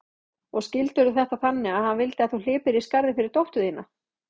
Og skildirðu þetta þannig að hann vildi að þú hlypir í skarðið fyrir dóttur þína?